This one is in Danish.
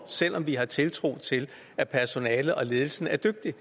selv om vi har tiltro til at personalet og ledelsen er dygtige